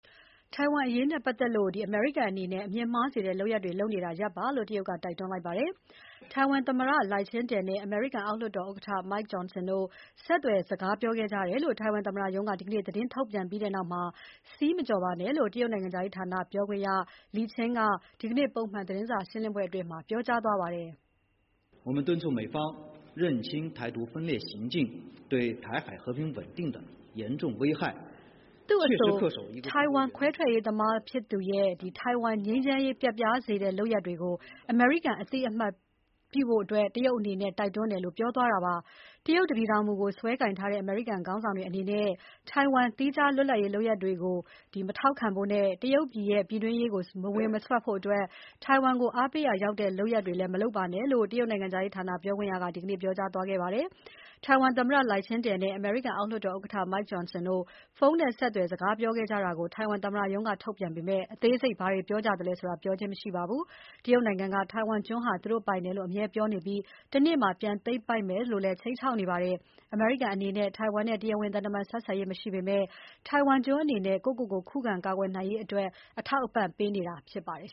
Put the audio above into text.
ထိုင်ဝမ်အရေးနဲ့ပတ်သက်လို့ အမေရိကန်အနေနဲ့ အမြင်မှားစေတဲ့လုပ်ရပ်တွေလုပ်နေတာ ရပ်ပါလို့ တရုတ်ကတိုက်တွန်းလိုက်ပါတယ်။ ထိုင်ဝမ်သမ္မတ Lai Ching-te (လိုက်ချင်းတယ်) နဲ့ အမေရိကန် အောက်လွှတ်တော်ဥက္ကဋ္ဌ Mike Johnson တို့ ဆက်သွယ်စကားပြောခဲ့ကြတယ်လို့ ထိုင်ဝမ်သမ္မတရုံးက ဒီနေ့ သတင်းထုတ်ပြန်ခဲ့ပြီးနောက်မှာ စည်းမကျော်ပါနဲ့လို့ တရုတ်နိုင်ငံခြားရေးပြောခွင့်ရ Lin Jian က ဒီနေ့ ပုံမှန်သတင်းစာရှင်းပွဲအတွင်း ပြောကြားခဲ့ပါတယ်။ သူ့အဆို ထိုင်ဝမ်ခွဲထွက်ရေးသမားဖြစ်သူရဲ့ ထိုင်ဝမ်ငြိမ်းချမ်းတည်ငြိမ်ရေး ပျက်ပြားစေတဲ့ လုပ်ရပ်တွေကို အမေရိကန်ကအသိအမှတ်ပြုဖို့ တရုတ်အနေနဲ့ တိုက်တွန်းတယ်လို့ ပြောသွားတာပါ။ တရုတ်တပြည်ထောင်မူကို စွဲကိုင်ထားတဲ့ အမေရိကန်ခေါင်းဆောင်တွေအနေနဲ့ ထိုင်ဝမ် သီးခြား လွတ်လပ်ရေးလုပ်ရပ်တွေကို မထောက်ခံဖို့နဲ့ တရုတ်ရဲ့ ပြည်တွင်းရေးကို မစွက်ဖို့၊ ထိုင်ဝမ်ကို အားပေးရာရောက်တဲ့ လုပ်ရပ်တွေ မလုပ်ပါနဲ့လို့ တရုတ်နိုင်ငံခြားရေးဌာန ပြောခွင့်ရက ဒီနေ့ ပြောကြားသွားခဲ့ပါတယ်။ ထိုင်ဝမ်သမ္မတ Lai Ching-te နဲ့ အမေရိကန်အောက်လွှတ်တော်ဥက္ကဋ္ဌ Mike Johnson တို့ ဖုန်းနဲ့ဆက်သွယ် စကားပြောခဲ့ကြတာကို ထိုင်ဝမ်သမ္မတရုံးက ထုတ်ပြန်ပေမဲ့ အသေးစိတ်ဘာတွေ ပြောကြသလဲဆိုတာကို ပြောခြင်း မရှိပါဘူး။တရုတ်နိုင်ငံက ထိုင်ဝမ်ကျွန်းဟာ သူတို့ပိုင်တယ်လို့ အမြဲပြောနေပြီး တနေ့မှာ ပြန်သိမ်းပိုက်မယ်လို့ အမြဲခြိမ်းခြောက်နေပါတယ်။ အမေရိကန်အနေနဲ့ ထိုင်ဝမ်နဲ့ တရားဝင်သံတမန်ဆက်ဆံရေး မရှိပေမဲ့ ထိုင်ဝမ်ကျွန်းအနေနဲ့ ကိုယ့်ကိုကိုယ်ခုခံ ကာကွယ်နိုင်ရေးအတွက် အထောက်အပံ့တွေ ပေးနေတာဖြစ်ပါတယ်